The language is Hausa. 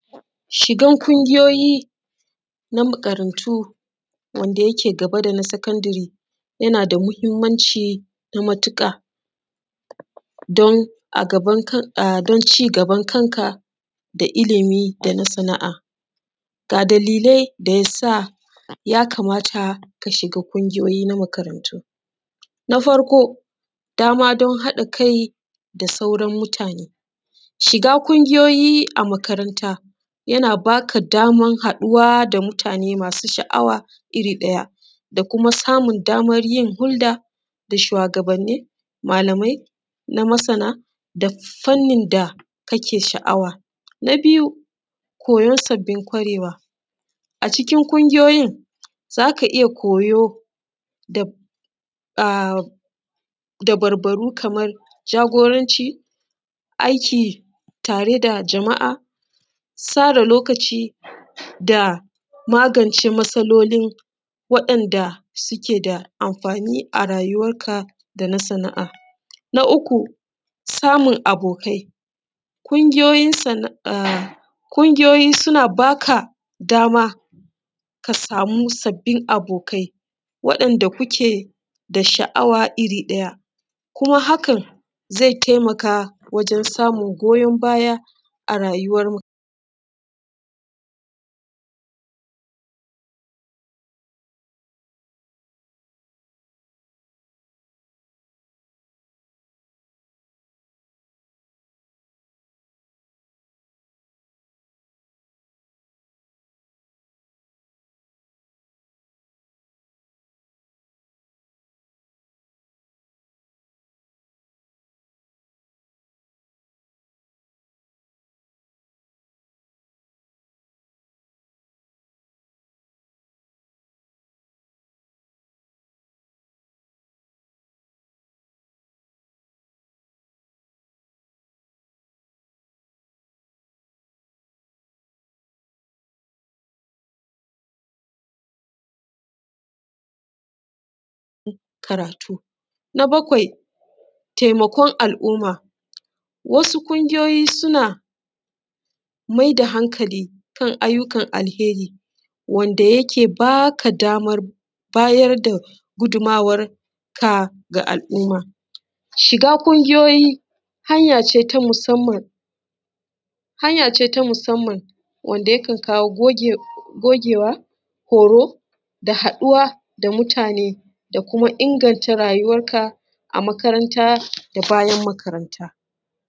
Shigan ƙungiyoyi na makarantu wanda yake gaba da na sakandiri yana da mahimmanci na matuƙa don a gaban kanka, don cigaban kanka da ilimi da na sana’a. Ga dalilai da yasa yakamata ka shiga ƙungiyoyi na makarantu: Na farko: dama don haɗa kai da sauran mutane. Shiga ƙungiyoyi a makaranta yana baka damar haɗuwa da mutane masu sha’awa iri ɗaya da kuma samun damar yin hulɗa da shugabanni, malamai da masana da fanni da kake da sha’awa. Na biyu: koyan sabbin kwarewa. A cikin ƙungiyoyin za ka iya koyo dabarbaru kamar jagoranci, aiki tare da jama’a, da da’a, tsara lokaci da magance matsalolin, waɗannan da suke da amfani a rayuwarka da na sana’a. Na uku: samun abokai. Ƙungiyoyin sana’a ko ƙungiyoyi suna baka damar samun sabbin abokai waɗanda kuke da sha’awa iri ɗaya, kuma hakan ze taimaka wajen samun goyon baya a rayuwar karatu. Na bakwai: taimakon al’umma. Wasu ƙungiyoyi suna maida hankali kan ayyuka alheri, wanda yake baka damar bayar da gudumawar ka ga al’umma. Shiga ƙungiyoyi hanya ce ta masumna, hanya ce ta masumna wanda yakan kawo goge gogewa, koro da haɗuwa da mutane, da kuma inganta rayuwarka a makaranta da bayan makaranta.